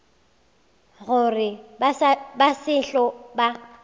gore ba se tlo ba